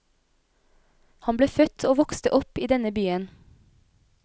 Han ble født og vokste opp i denne byen.